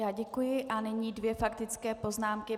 Já děkuji a nyní dvě faktické poznámky.